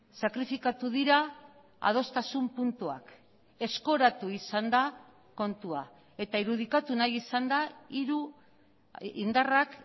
sakrifikatu dira adostasun puntuak eskoratu izan da kontua eta irudikatu nahi izan da hiru indarrak